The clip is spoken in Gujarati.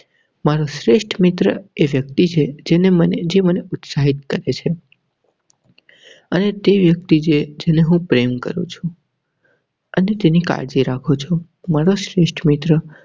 મારુ શ્રેષ્ઠ મિત્ર એ વ્યક્તિ જેને મને જે મને ઉત્સાહિત કરેં છે અને તે વ્યક્તિ જેને હું પ્રેમ કરું છુ. અને તેની કાળજી રાખું છું મારો શ્રેષ્ઠ મિત્ર.